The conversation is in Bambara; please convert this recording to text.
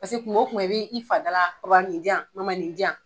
kung wo kungo i b'i fa da la nin jan nin jan.